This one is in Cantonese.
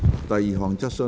第二項質詢。